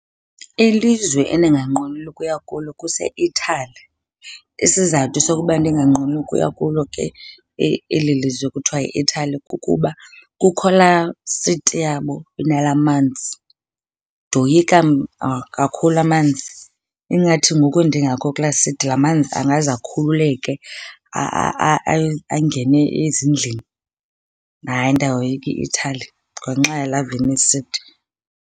Ilizwe endinganqweneli ukuya kulo kuseItaly. Isizathu sokuba ndinganqweneli ukuya kulo ke eli lizwe kuthiwa yiItaly kukuba kukho laa City yabo inalaa manzi. Ndoyika kakhulu amanzi. Ingathi ngoku ndingekho kulaa city laa manzi angaze akhululeke angene ezindlini. Hayi, ndiyayoyika iItaly ngenxa yalaa Venice City.